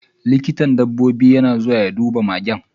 Likitan dabbobi na zuwa ya duba magen.